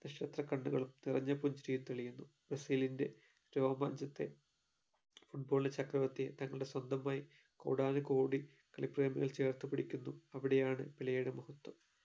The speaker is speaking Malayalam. നക്ഷത്ര കണ്ണുകളും നിറഞ്ഞ പുഞ്ചിരിയും തെളിയുന്നു ബ്രസീലിൻറെ രോമാഞ്ചത്തെ football ചക്രവർത്തിയെ തങ്ങളുടെ സ്വന്തമായി കോടാനുകോടി കളി പ്രേമികൾ ചേർത്ത് പിടിക്കുന്നു അവിടെയാണ് പെലെയുടെ മഹത്വം